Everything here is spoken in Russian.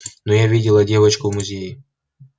но я видела девочку в музее